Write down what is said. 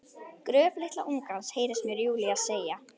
Gröf litla ungans, heyrist mér Júlía segja.